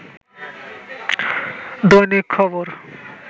দৈনিক খবর